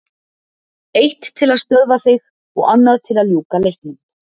Eitt til að stöðva þig og annað til að ljúka leiknum.